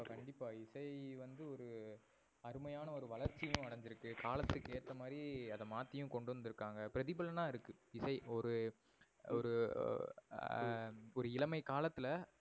கண்டிப்பா. இசை வந்து ஒரு அருமையான ஒரு வளர்ச்சியும் அடஞ்சி இருக்கு காலத்துக்கு ஏத்தமாரி அத மாத்தியும் கொண்டுவந்து இருக்காங்க. பிரதிபலனா இருக்கு. இசை ஒரு எர் ஹம் ஒரு இளமை காலத்துல